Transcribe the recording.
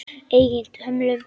Eigin hömlum.